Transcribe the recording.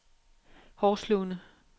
Horslunde